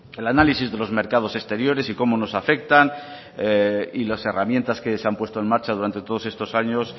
el análisis de los mercados exteriores y cómo nos afectan y las herramientas que se han puesto en marcha durante todos estos años